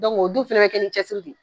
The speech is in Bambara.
Dɔnku o dun fɛnɛ bi kɛ ni cɛsiri de ye